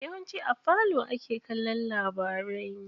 Yawanci a falo ake kallon labarai.